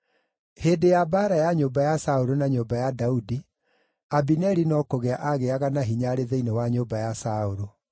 Hĩndĩ ya mbaara ya nyũmba ya Saũlũ na nyũmba ya Daudi, Abineri no kũgĩa aagĩaga na hinya arĩ thĩinĩ wa nyũmba ya Saũlũ.